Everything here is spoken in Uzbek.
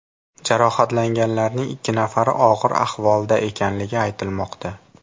Jarohatlanganlarning ikki nafari og‘ir ahvolda ekanligi aytilmoqda.